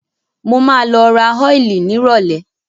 Mo máa lọ ra ọ́ìlì nírọ̀lẹ́.